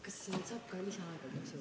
Kas igaks juhuks saab ka lisaaega võtta?